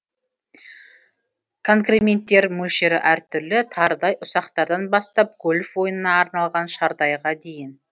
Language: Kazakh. конкременттер мөлшері әртүрлі тарыдай ұсақтардан бастап гольф ойынына арналған шардайға дейін